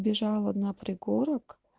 бежала на пригорок